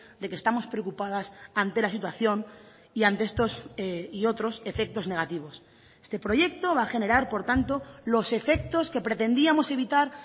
de que estamos preocupadas ante la situación y ante estos y otros efectos negativos este proyecto va a generar por tanto los efectos que pretendíamos evitar